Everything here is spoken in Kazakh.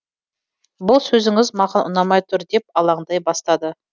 бұл сөзіңіз маған ұнамай тұр деп алаңдай бастады